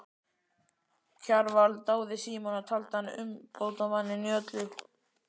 Kjarval dáði Símon og taldi hann umbótamann í öllu.